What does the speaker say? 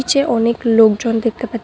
চে অনেক লোকজন দেখতে পাচ্ছি।